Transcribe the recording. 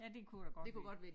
Ja det kunne da godt være